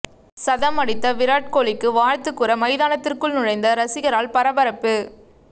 சதம் அடித்த விராட் கோலிக்கு வாழ்த்து கூற மைதானத்திற்குள் நுழைந்த ரசிகரால் பரபரப்பு